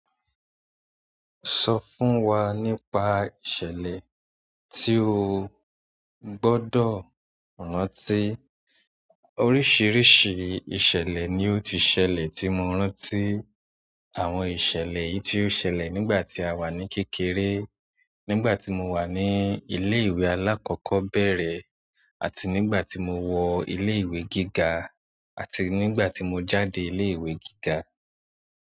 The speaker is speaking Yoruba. Sọ fún wa nípa ìṣẹ̀lẹ̀ tí o gbọdọ rántí. Oríṣiríṣi ìṣẹ̀lẹ̀ ni ó ti ṣẹlẹ̀ tí mo rántí. Àwọn ìṣẹ̀lẹ̀ èyí tí ó sẹlẹ nígbà tí àwa ni kékeré. Nígbàtí mowa ní ilé ìwé alakọkọbẹrẹ àti nígbà tí mo wọ ilé ìwé gíga, àti nígbà tí mo jáde ilé ìwé gíga.